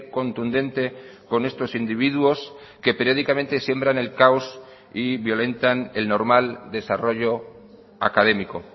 contundente con estos individuos que periódicamente siembran el caos y violentan el normal desarrollo académico